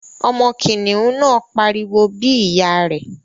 Ọmọ kìnìún náà pariwo bí ìyá rẹ̀